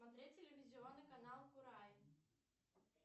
смотреть телевизионный канал курай